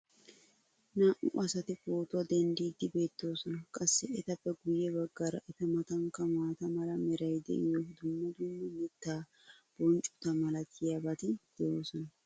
naa'u asati pootuwa dendiidi beetoosona. qassi etappe guye bagaara eta matankka maata mala meray diyo dumma dumma mitaa bonccota malatiyaabati de'oosona.